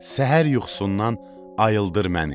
Səhər yuxusundan ayıldır məni.